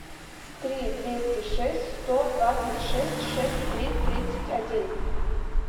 три двести шесть сто двадцать шесть шесть три тридцать один